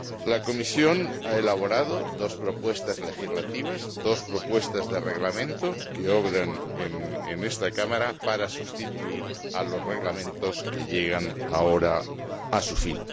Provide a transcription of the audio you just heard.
La Comisión ha elaborado dos propuestas legislativas, dos propuestas de Reglamento que obran en esta Cámara para sustituir a los Reglamentos que llegan ahora a su fin.